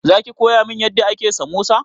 Za ki koya min yadda ake samosa?